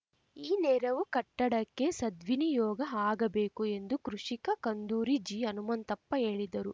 ಈ ನೆರವು ಕಟ್ಟಡಕ್ಕೆ ಸದ್ವಿನಿಯೋಗ ಆಗಬೇಕು ಎಂದು ಕೃಷಿಕ ಕುಂದೂರಿ ಜಿ ಹನುಮಂತಪ್ಪ ಹೇಳಿದರು